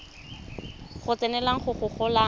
go tsenelela go go golang